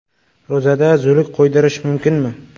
Ro‘zada zuluk qo‘ydirish mumkinmi?.